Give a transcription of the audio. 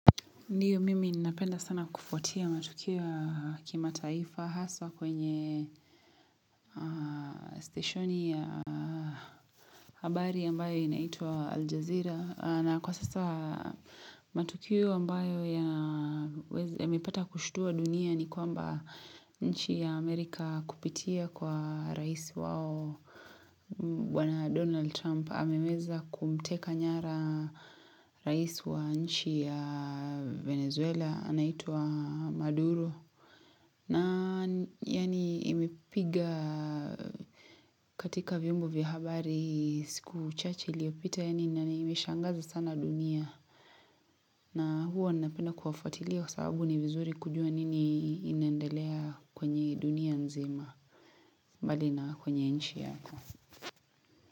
Ndiyo mimi ninapenda sana kufuatia matukio ya kimataifa haswa kwenye steshoni ya habari ambayo inaitwa Al Jazeera. Na kwa sasa matukio ambayo yamepata kushtua dunia ni kwamba nchi ya Amerika kupitia kwa raisi wao Bwana Donald Trump. Ameweza kumteka nyara rais wa nchi ya Venezuela, anaitwa Maduro. Na yaani imepiga katika vyombo vya habari siku uchache iliyopita yaani na imeshangaza sana dunia. Na huwa ninapenda kuwafuatilia kwa sababu ni vizuri kujua nini inaendelea kwenye dunia nzima. Mbali na kwenye nchi yako.